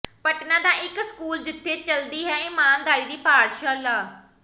ਪਟਨਾ ਦਾ ਇਕ ਸਕੂਲ ਜਿਥੇ ਚੱਲਦੀ ਹੈ ਇਮਾਨਦਾਰੀ ਦੀ ਪਾਠਸ਼ਾਲਾ